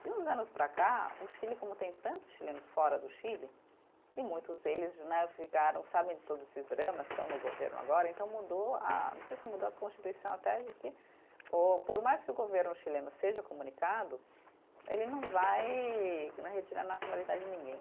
De uns anos para cá, o Chile, como tem tantos chilenos fora do Chile, e muitos deles né ficaram, sabem de todos esses dramas, estão no governo agora, então mudou a, não sei se mudou a constituição até de que ô, por mais que o governo chileno seja comunicado, ele não né, vai retirar a nacionalidade de ninguém.